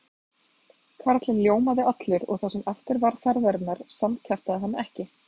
Karlinn ljómaði allur og það sem eftir var ferðarinnar samkjaftaði hann ekki.